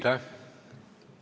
Aitäh!